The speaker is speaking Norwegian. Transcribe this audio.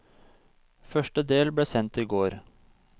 Første del ble sendt i går.